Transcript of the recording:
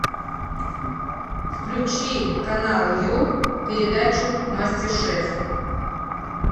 включи канал ю передачу мастер шеф